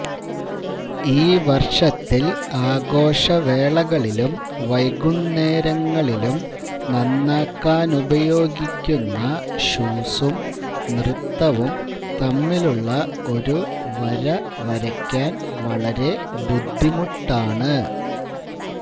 ഈ വർഷത്തിൽ ആഘോഷവേളകളിലും വൈകുന്നേരങ്ങളിലും നന്നാക്കാനുപയോഗിക്കുന്ന ഷൂസും നൃത്തവും തമ്മിലുള്ള ഒരു വര വരയ്ക്കാൻ വളരെ ബുദ്ധിമുട്ടാണ്